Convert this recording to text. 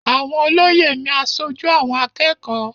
Àwọn olóyè ni aṣojú àwọn akẹ́kọ̀ọ́.